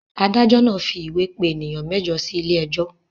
Adájọ́ náà fi ìwé pè ènìyàn mẹ́jọ sílé ẹjọ́.